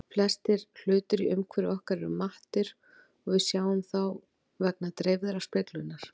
Flestir hlutir í umhverfi okkar eru mattir og við sjáum þá vegna dreifðrar speglunar.